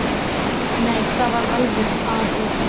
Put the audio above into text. Nei, það var alveg af og frá.